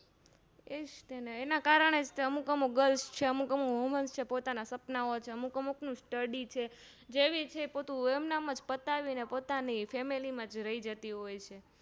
એજ તેને એના કારણે અમુક અમુક Girls અમુક અમુક Woman છે પોતાના સપનાઓ અમુક અમુક નું Study છે જેવી છે એમનું એમનમ પતાવીને પોતાની Family માજ રહી જાતી હોય છે